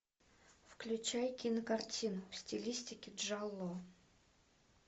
включай кинокартину в стилистике джалло